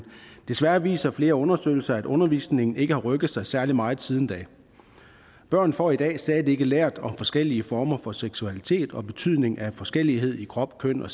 desværre viser flere undersøgelser at undervisningen ikke har rykket sig særlig meget siden da børn får i dag stadig ikke lært om forskellige former for seksualitet og betydningen af forskellighed i krop køn og